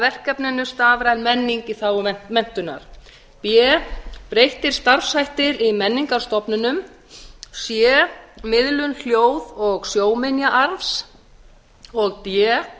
verkefninu stafræn menning í þágu menntunar b breyttir starfshættir í menningarstofnunum c miðlun hljóð og sjónminjaarfs d